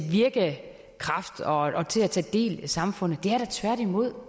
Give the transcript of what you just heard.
virke og tage del i samfundet det er da tværtimod